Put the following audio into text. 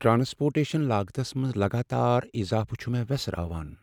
Transportation لاگتس منٛز لگاتار اضافہٕ چھ مےٚ ویسراوان۔